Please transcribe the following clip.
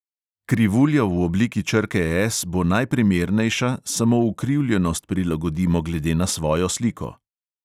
Krivulja v obliki črke S bo najprimernejša, samo ukrivljenost prilagodimo glede na svojo sliko.